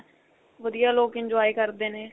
ਵਧੀਆ ਲੋਕ enjoy ਕਰਦੇ ਨੇ